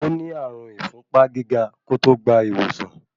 Ó ní ààrùn n ìfúnpá gíga kó tó gbà ìwòsàn.